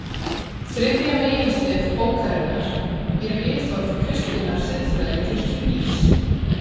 Þriðja meginstef bókarinnar er viðhorf kristinnar siðfræði til kynlífs.